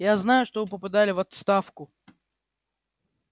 я знаю что вы поподали в отставку